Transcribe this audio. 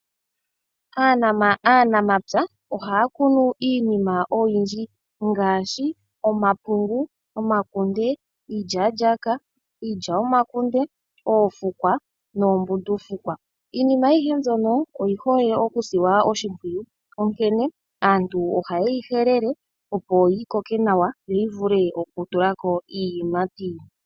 Aanamapya ohaya kunu iinima oyindji ngaashi omapungu, omakunde, iilyalyaka, iilya yomahangu, oofukwa noombundufukwa. Iinima ayihe mbyono oyihole okusilwa oshimpwiyu onkene aantu ohaye yi helele opo yi koke nawa yo yi vule okutulako iiyimati.